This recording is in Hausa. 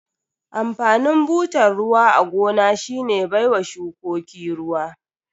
Amfanin butar ruwa a gona shine baiwa shukuko ruwa.